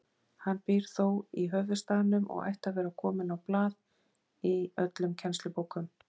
Hann býr þó í höfuðstaðnum og ætti að vera kominn á blað í öllum kennslubókum.